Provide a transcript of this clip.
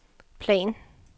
plan